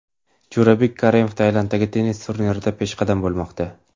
Jo‘rabek Karimov Tailanddagi tennis turnirida peshqadam bo‘lmoqda.